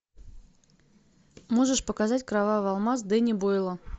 можешь показать кровавый алмаз дэнни бойла